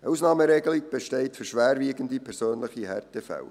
Eine Ausnahmeregelung besteht für schwerwiegende persönliche Härtefälle.